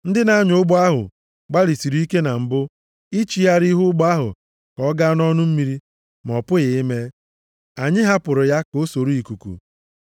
Ndị na-anya ụgbọ ahụ gbalịsịrị ike na mbụ ichigharị ihu ụgbọ ahụ ka ọ gaa nʼọnụ mmiri, ma ọ pụghị ime. Anyị hapụrụ ya ka o soro ikuku.